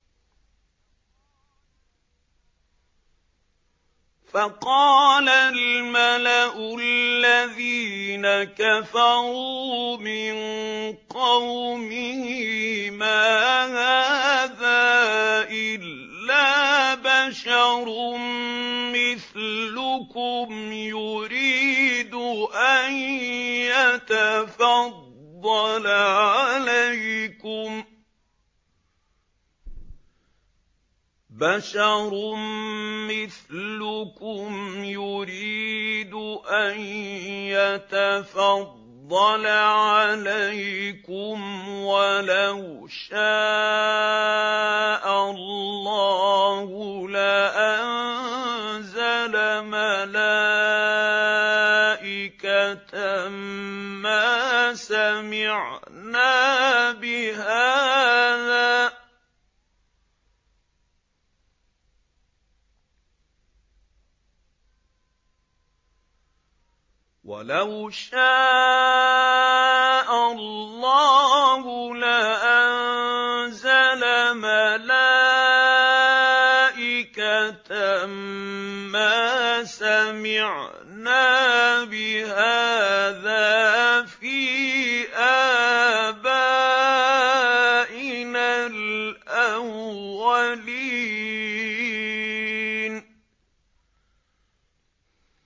فَقَالَ الْمَلَأُ الَّذِينَ كَفَرُوا مِن قَوْمِهِ مَا هَٰذَا إِلَّا بَشَرٌ مِّثْلُكُمْ يُرِيدُ أَن يَتَفَضَّلَ عَلَيْكُمْ وَلَوْ شَاءَ اللَّهُ لَأَنزَلَ مَلَائِكَةً مَّا سَمِعْنَا بِهَٰذَا فِي آبَائِنَا الْأَوَّلِينَ